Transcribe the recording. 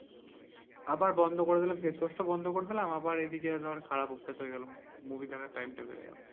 আবার বন্ধ করে দিলাম face wash টা বন্ধ করে দিলাম দিয়ে আবার এদিকে ধর খারাপ অভ্যাস হয়ে গেল movie দেখার time টা বেড়ে গেলো।